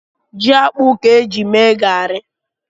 Ji akpụ ka e ji mee gari.